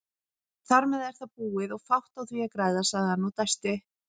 Þarmeð er það búið og fátt á því að græða, sagði hann og dæsti.